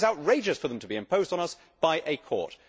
It is outrageous for them to be imposed on us by a court.